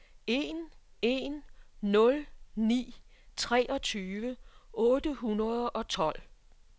en en nul ni treogtyve otte hundrede og tolv